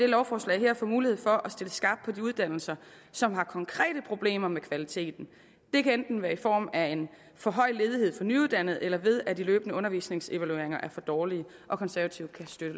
lovforslag få mulighed for at stille skarpt på de uddannelser som har konkrete problemer med kvaliteten det kan enten være i form af en for høj ledighed for nyuddannede eller ved at de løbende undervisningsevalueringer er for dårlige konservative kan støtte